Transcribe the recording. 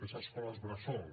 és escoles bressol